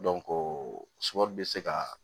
bɛ se kaa